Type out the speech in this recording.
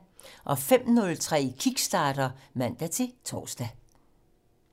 05:03: Kickstarter (man-tor)